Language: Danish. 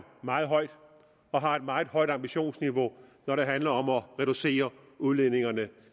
meget højt og har et meget højt ambitionsniveau når det handler om at reducere udledningerne